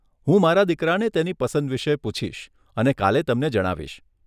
હું મારા દીકરાને તેની પસંદ વિષે પૂછીશ અને કાલે તમને જણાવીશ.